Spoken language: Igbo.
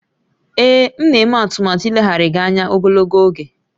Ee, m na-eme atụmatụ ileghara gị anya ogologo oge